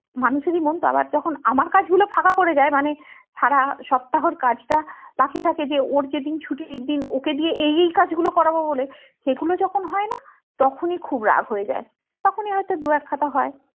মানুষ এরই মন তা আবার যখন আমার কাজ গুলো ফাঁকা পরে যাই মানে সারা সপ্তাহের কাজটা বাকি থাকে যে ওর যেদিন ছুটির দিন ওকে দিয়ে এই এই কাজ গুলো করবো বলে সেগুলো যখন হয়না তখনি খুব রাগ হয়ে যায় তখনি হয়তো দু এক কথা হয়